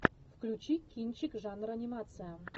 включи кинчик жанр анимация